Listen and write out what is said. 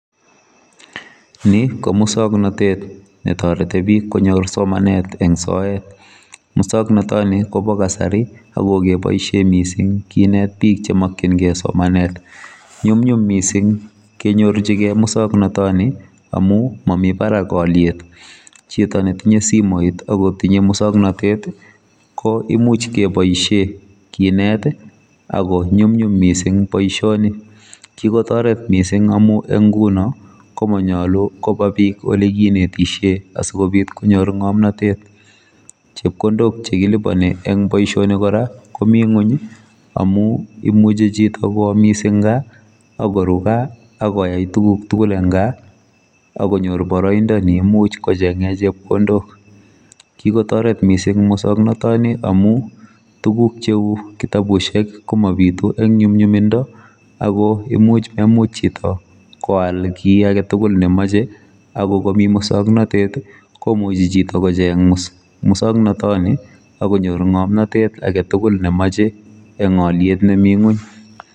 Ni komuswoknatet netoreti bik konyor somanet eng soet muswoknotoni kobo kasari akokeboisie mising kinet bik chemokyingei somanet nyumnyum mising kenyorchigei miswoknatoni amu mami barak oliet chito netinye simoit akotinye musoknatet koimuch kiboishe kinet aku nyumnyum mising boisioni kikotoret mising amu eng nguno komanyalu kobabik ole kinetishe asokobit konyor ngomnotet chepkondok chekilibani eng boisioni kora komi ngony amu imuchi chito koamis eng gaa akoru gaa akoyai tuguk tugul eng gaa akonyor boroindo neimuch kochenge chepkondok kikotoret mising muswoknotoni amu tugun cheu kitabusyek komabitu eng nyumnyumindo akoimuch memuch hcito koal kiaketugul nemoche akokomi muswoknatet komuchi chito kocheng muswoknotoni akonyor ngomnotet aketugul nemoche eng oliet nemi ngony